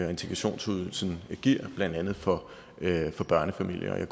og integrationsydelsen giver blandt andet for børnefamilier